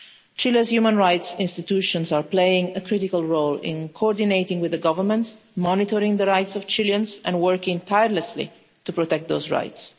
Chile's human rights institutions are playing a critical role in coordinating with the government, monitoring the rights of Chileans and working tirelessly to protect those rights.